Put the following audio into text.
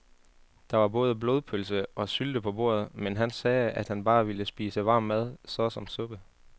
Der var både blodpølse og sylte på bordet, men han sagde, at han bare ville spise varm mad såsom suppe.